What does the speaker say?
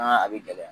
a bɛ gɛlɛya